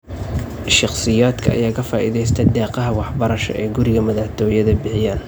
Shakhsiyaadka ayaa ka faa'iideystey deeqaha waxbarasho ee guriga madaxtoyaada bixiyeen.